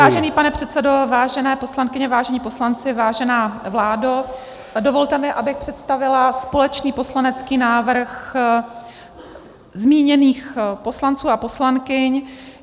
Vážený pane předsedo, vážené poslankyně, vážení poslanci, vážená vládo, dovolte mi, abych představila společný poslanecký návrh zmíněných poslanců a poslankyň.